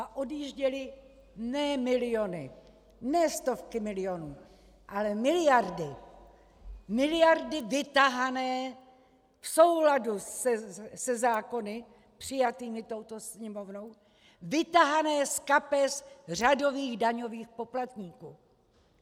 A odjížděly ne miliony, ne stovky milionů, ale miliardy , miliardy vytahané v souladu se zákony přijatými touto Sněmovnou, vytahané z kapes řadových daňových poplatníků!